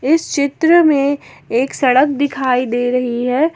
इस चित्र में एक सड़क दिखाई दे रही है।